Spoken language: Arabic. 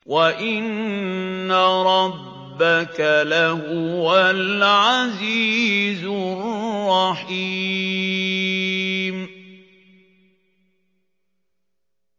وَإِنَّ رَبَّكَ لَهُوَ الْعَزِيزُ الرَّحِيمُ